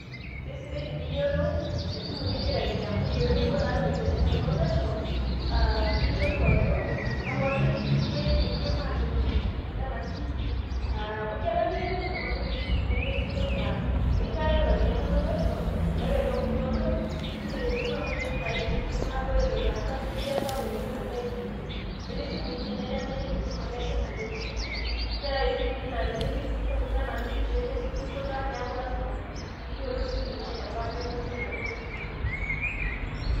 keisidai teni yiolou esimu nigira ainyangu pee, mepuo naa iropiyiani inonok pesho, niyiolou ajo amaa olbetiri keishu enkima asioki lena simu. Amu kelo nikimira ki iltung'anak esimu nemesidai naa inchooyo ake iropiyiani inonok pesho ore too inkuti olong neiteru esimu aaku ekiti naishu enkima, ure eton ijo iyie eisapuk enkima neishunye. Netii isimui nemejing enkima kejing akitikiti, neetae isimui naa tenipik inkuti tokiting anaa inkuti pishai nesioki aiputa neauku piyiolou ajo kebaa memory enaduo simu ino.